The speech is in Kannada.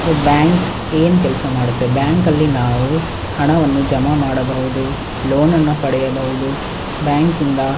ಸೋ ಬ್ಯಾಂಕ್ ಏನ್ ಕೆಲ್ಸ ಮಾಡುತ್ತೆ ಬ್ಯಾಂಕಲ್ಲಿ ನಾವು ಹಣವನ್ನು ಜಮಾ ಮಾಡಬಹುದು ಲೋನನ್ನು ಪಡೆಯಬಹುದು ಬ್ಯಾಂಕಿಂದ .